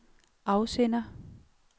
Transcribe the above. afsender